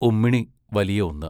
ഉമ്മിണി വലിയ ഒന്ന്